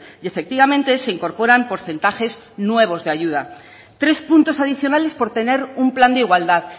y efectivamente se incorporan porcentajes nuevos de ayuda tres puntos adicionales por tener un plan de igualdad